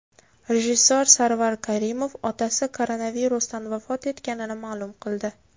Rejissor Sarvar Karimov otasi koronavirusdan vafot etganini ma’lum qildi.